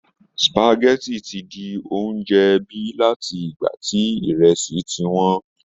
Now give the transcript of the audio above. Spageti ti di oúnjẹ ẹbí láti ìgbà tí ìrẹsì ti wọ́n